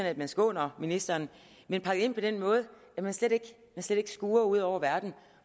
at man skåner ministeren men pakket ind forstået på den måde at man slet ikke skuer ud over verden